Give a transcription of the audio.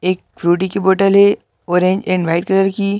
एक फ्रूटी की बोटल है ऑरेंज एंड वाइट कलर की --